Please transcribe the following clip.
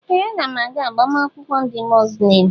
Ee! Aga m aga agbamakwụkwọ ndị Muzlem.